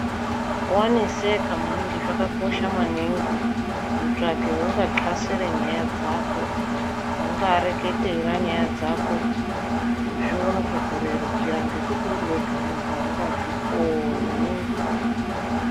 Waneseka maningi, zvakakosha maningi kutsvaka weuno xasira nyaya dzako, weungakureketera nyaya dzako zvione kukurerukira ngekuti uriwega aungazvikoni.